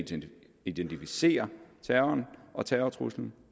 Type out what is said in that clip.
identificere terroren og terrortruslen